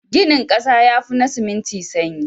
Ginin ƙasa yafi na siminti sanyi.